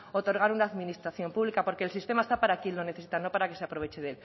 otorgar una administración pública porque el sistema está para quien lo necesita no para que se aproveche